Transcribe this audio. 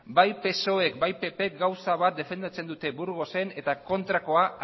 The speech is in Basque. bai psoek eta bai ppk gauza bat defendatzen dute burgosen eta kontrakoa